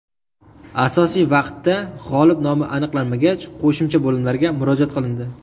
Asosiy vaqtda g‘olib nomi aniqlanmagach qo‘shimcha bo‘limlarga murojaat qilindi.